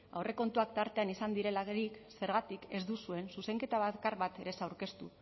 aurrekontuak tartean izan direlarik zergatik ez duzuen zuzenketa bakar bat ere ez aurkeztu